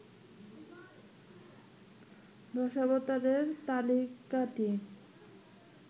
দশাবতারের তালিকাটি